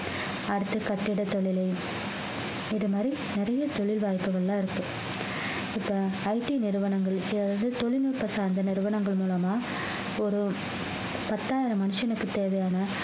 அடுத்த கட்டிட தொழிலு இது மாதிரி நிறைய தொழில் வாய்ப்புகள் எல்லாம் இருக்கு இப்ப IT நிறுவனங்களுக்கு அதாவது தொழில்நுட்பம் சார்ந்த நிறுவனங்கள் மூலமா ஒரு பத்தாயிரம் மனுஷனுக்கு தேவையான